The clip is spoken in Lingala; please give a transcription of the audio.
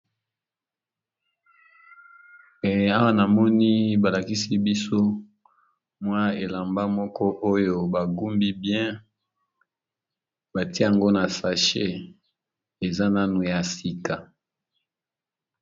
Awa na moni balakisi biso mwa elamba moko oyo bagumbi bien batie ngo na sachet eza nanu ya sika.